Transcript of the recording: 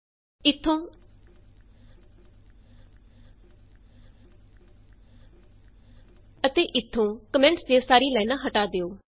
ਇਥੋਂ ਅਤੇ ਇਥੋਂ ਕੋਮੈਂਟਸ ਦੀਆਂ ਸਾਰੀਆਂ ਲਾਈਨਾਂ ਹੱਟਾ ਦਿਉ